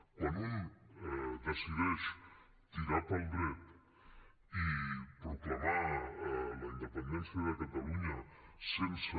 quan un decideix tirar pel dret i proclamar la independència de catalunya sense